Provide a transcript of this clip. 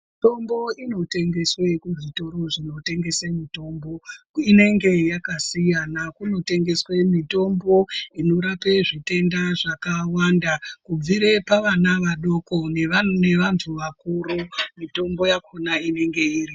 Mitombo inotengeswe muzvitoro zvinotengese mutombo inenge yakasiyana. Kunotengeswe mitombo inorape zvitenda zvakawanda. Kubvire pavana vadoko nevantu vakuru mitombo yakona inenge iripo.